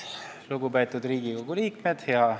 Lugupeetud Riigikogu liikmed!